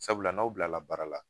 Sabula n'aw bila baara la